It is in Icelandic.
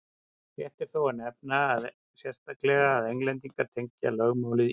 rétt er þó að nefna sérstaklega að englendingar tengja lögmálið írum